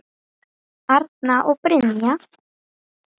Arna og Brynja.